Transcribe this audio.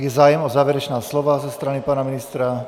Je zájem o závěrečná slova ze strany pana ministra?